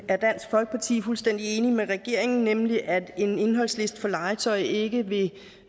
er dansk folkeparti fuldstændig enig med regeringen nemlig at en indholdsliste for legetøj ikke vil